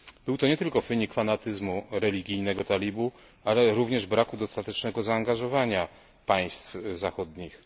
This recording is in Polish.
Był to nie tylko wynik fanatyzmu religijnego talibów, ale również braku dostatecznego zaangażowania państw zachodnich.